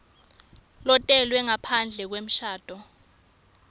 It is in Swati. lotelwe ngaphandle kwemshado